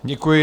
Děkuji.